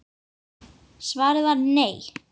Svarið var nei.